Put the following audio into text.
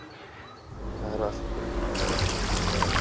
Það er allt brunnið.